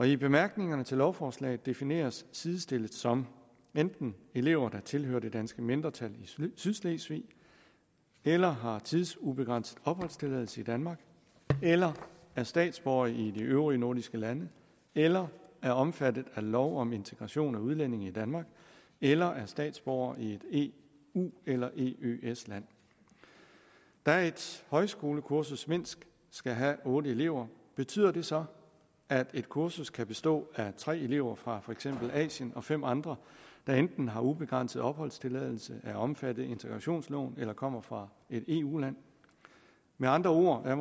i bemærkningerne til lovforslaget defineres sidestillet som enten elever der tilhører det danske mindretal i sydslesvig eller har tidsubegrænset opholdstilladelse i danmark eller er statsborgere i de øvrige nordiske lande eller er omfattet af lov om integration af udlændinge i danmark eller er statsborgere i et eu eller eøs land da et højskolekursus mindst skal have otte elever betyder det så at et kursus kan bestå af tre elever fra for eksempel asien og fem andre der enten har ubegrænset opholdstilladelse er omfattet af integrationsloven eller kommer fra et eu land med andre ord er